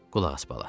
Qulaq as, bala.